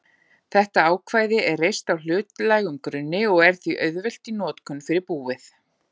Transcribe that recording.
þetta ákvæði er reist á hlutlægum grunni og er því auðvelt í notkun fyrir búið.